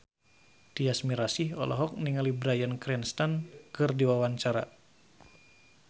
Tyas Mirasih olohok ningali Bryan Cranston keur diwawancara